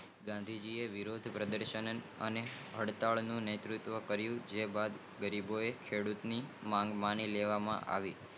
ગાંધી જી આ વિરોદ પ્રદર્શન અને હડતાલ નેતુત્વ કરીયુ જે બાદ ગરીબોએ ખેડૂતો ની વાત મણિ લેવાની આવી